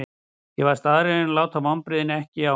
Ég var staðráðinn í að láta vonbrigðin ekki á mig fá.